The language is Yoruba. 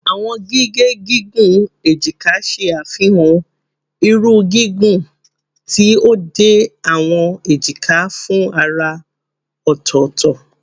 Awọn gige gigun ejika ṣe afihan irun gigun ti o de awọn ejika fun ara ọtọtọ